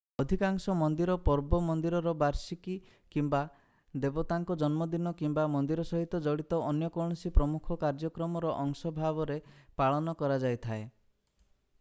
ଅଧିକାଂଶ ମନ୍ଦିର ପର୍ବ ମନ୍ଦିରର ବାର୍ଷିକୀ କିମ୍ବା ଦେବତାଙ୍କ ଜନ୍ମଦିନ କିମ୍ବା ମନ୍ଦିର ସହିତ ଜଡିତ ଅନ୍ୟ କୌଣସି ପ୍ରମୁଖ କାର୍ଯ୍ୟକ୍ରମର ଅଂଶ ଭାବରେ ପାଳନ କରାଯାଇଥାଏ